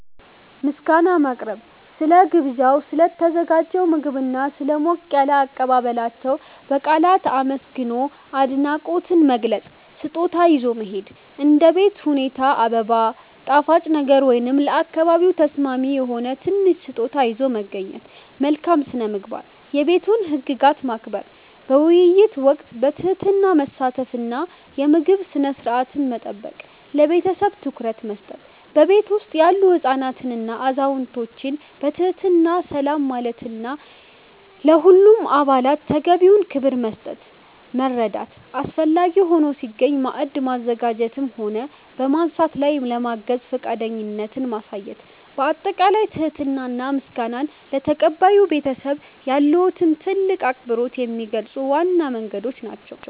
ምስጋና ማቅረብ፦ ስለ ግብዣው፣ ስለ ተዘጋጀው ምግብና ስለ ሞቅ ያለ አቀባበላቸው በቃላት አመስግኖ አድናቆትን መግለጽ። ስጦታ ይዞ መሄድ፦ እንደ ቤት ሁኔታ አበባ፣ ጣፋጭ ነገር ወይም ለአካባቢው ተስማሚ የሆነ ትንሽ ስጦታ ይዞ መገኘት። መልካም ስነ-ምግባር፦ የቤቱን ህግጋት ማክበር፣ በውይይት ወቅት በትህትና መሳተፍ እና የምግብ ስነ-ስርዓትን መጠበቅ። ለቤተሰቡ ትኩረት መስጠት፦ በቤቱ ውስጥ ያሉ ህፃናትንና አዛውንቶችን በትህትና ሰላም ማለትና ለሁሉም አባላት ተገቢውን ክብር መስጠት። መርዳት፦ አስፈላጊ ሆኖ ሲገኝ ማዕድ በማዘጋጀትም ሆነ በማንሳት ላይ ለማገዝ ፈቃደኝነትን ማሳየት። ባጠቃላይ ትህትና እና ምስጋና ለተቀባዩ ቤተሰብ ያለዎትን ትልቅ አክብሮት የሚገልጹ ዋና መንገዶች ናቸው።